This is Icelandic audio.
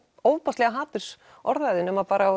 ofboðslega hatursorðræðu nema bara